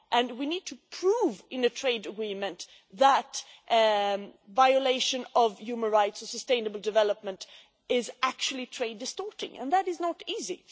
fair. We need to prove in a trade agreement that violation of human rights in sustainable development is actually trade distorting, and that is not